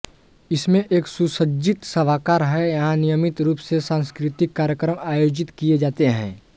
इसमें एक सुसज्जित सभागार है जहां नियमित रूप से सांस्कृतिक कार्यक्रम आयोजित किए जाते हैं